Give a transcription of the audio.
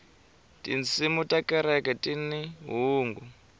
tinsimu ta kereke tini hungu